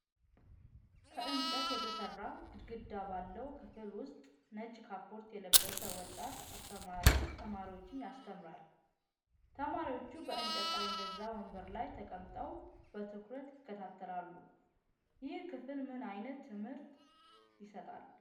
ከእንጨት የተሰራ ግድግዳ ባለው ክፍል ውስጥ ነጭ ካፖርት የለበሰ ወጣት አስተማሪ ተማሪዎችን ያስተምራል። ተማሪዎቹ በእንጨት ጠረጴዛና ወንበር ላይ ተቀምጠው በትኩረት ይከታተላሉ። ይህ ክፍል ምን ዓይነት ትምህርት ይሰጣል?